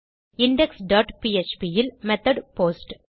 index dot PHP இல் method post